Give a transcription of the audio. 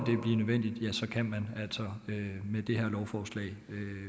nødvendigt kan man altså med det her lovforslag